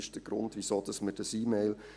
Dies war der Grund für diese E-Mail.